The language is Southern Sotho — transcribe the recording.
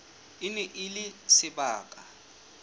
e ne e le sebaka